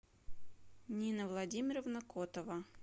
нина владимировна котова